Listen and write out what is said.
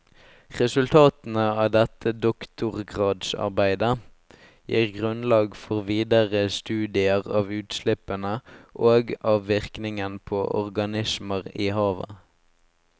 Resultatene av dette doktorgradsarbeidet gir grunnlag for videre studier av utslippene og av virkningen på organismer i havet.